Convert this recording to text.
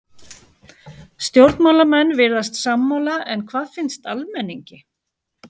Stjórnmálamenn virðast sammála en hvað finnst almenningi?